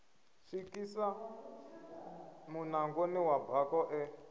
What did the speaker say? swikisa munangoni wa bako ḽe